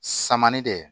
Saman de